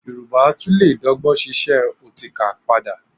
Yorùbá tún lè dọ́gbọ́n ṣíṣe ọtíkà padà